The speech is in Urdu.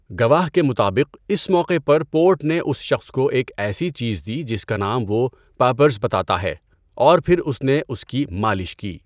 گواہ کے مطابق، اس موقع پر پورٹ نے اس شخص کو ایک ایسی چیز دی جس کا نام وہ 'پاپرز' بتاتا ہے اور پھر اس نے اس کی مالش کی۔